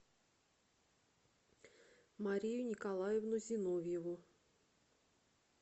марию николаевну зиновьеву